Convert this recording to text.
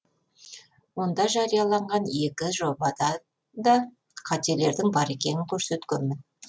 онда жарияланған екі жобада да қателердің бар екенін көрсеткенмін